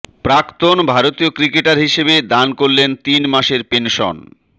প্রাক্তন ভারতীয় ক্রিকেটার হিসেবে দান করলেন তিন মাসের পেনশন